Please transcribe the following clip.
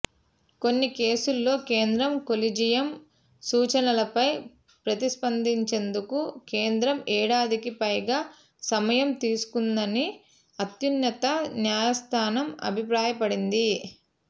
కొన్ని కేసుల్లో కేంద్రం కొలీజియం సూచనలపై ప్రతిస్పందించేందుకు కేంద్రం ఏడాదికి పైగా సమయం తీసుకుందని అత్యున్నత న్యాయస్థానం అభిప్రాయపడింది